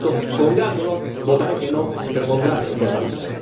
Por lo tanto, con gran dolor votaré que no, pero con gran responsabilidad.